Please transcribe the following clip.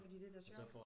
Fordi det er da sjovt